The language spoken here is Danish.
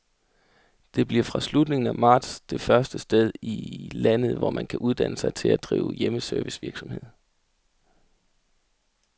Det bliver fra slutningen af marts det første sted i landet, hvor man kan uddanne sig til at drive hjemmeservicevirksomhed.